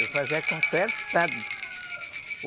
Eu fazia com o terçado.